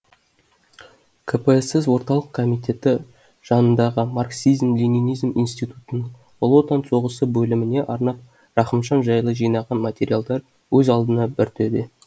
кпсс орталық комитеті жанындағы марксизм ленинизм институтының ұлы отан соғысы бөліміне арнап рахымжан жайлы жинаған материалдар өз алдына бір төбе